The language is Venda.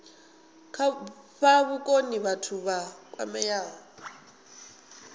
fha vhukoni vhathu vha kwameaho